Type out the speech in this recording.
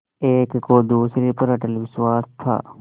एक को दूसरे पर अटल विश्वास था